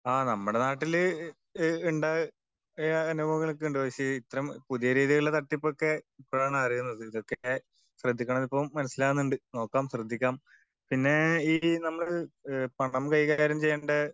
ആ നമ്മുടെ നാട്ടില് ഈഹ് ഇണ്ടായ അനുഭവങ്ങളൊക്കെ ഉണ്ട്. പക്ഷെ ഇത്തരം പുതിയ രീതികളിലെ തട്ടിപ്പ് ഒക്കെ ഇപ്പോഴാണ് അറിയുന്നത്. ഇതൊക്കെ ശ്രദ്ധിക്കണം എന്ന് ഇപ്പൊ മനസിലാവുന്നുണ്ട്. നോക്കാം ശ്രദ്ധിക്കാം. പിന്നേ ഈ നമ്മള് പണം കൈകാര്യം ചെയ്യണ്ട